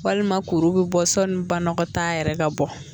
Walima kuru bɛ bɔ sɔnni banagɔtaa yɛrɛ ka bɔ.